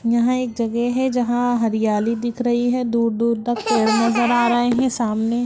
यहाँ एक जगह है जहाॅं हरियाली दिख रही है दूर-दूर तक पेड़ नजर आ रहे हैं सामने --